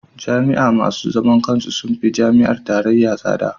Jami'a masu zaman kansu sun fi jami'ar tarayya tsada.